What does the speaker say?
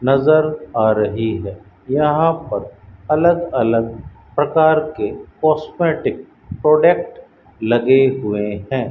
नजर आ रही है यहां पर अलग अलग प्रकार के कॉस्मेटिक प्रोडक्ट लगे हुए हैं।